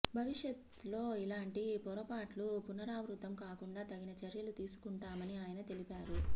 భవిష్యత్లో ఇలాంటి పొరపాట్లు పునరావృతం కాకుండా తగిన చర్యలు తీసుకుంటామని ఆయన తెలిపారు